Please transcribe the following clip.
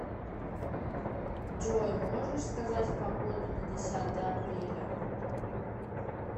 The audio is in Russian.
джой можешь сказать погоду на десятое апреля